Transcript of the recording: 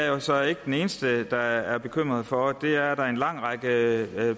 jo så ikke den eneste der er bekymret for er at der er en lang række